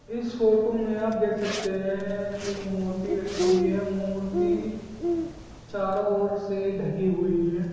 इस फोटो मे आप देख सकते है एक मूर्ति रखी हुई है मूर्ति चारों और से ढकी हुई है।